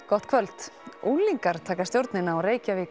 gott kvöld unglingar taka stjórnina á